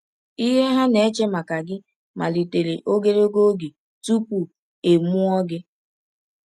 Ihe ha na-eche maka gị malitere ogologo oge tupu e mụọ gị.